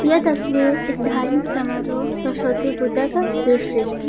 यह तस्वीर एक धार्मिक समारोह सरस्वती पूजा का दृश्य है।